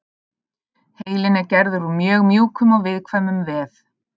Heilinn er gerður úr mjög mjúkum og viðkvæmum vef.